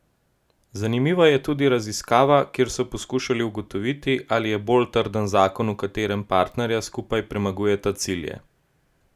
Zanimiva je tudi raziskava, kjer so poskušali ugotoviti, ali je bolj trden zakon, v katerem partnerja skupaj premagujeta cilje.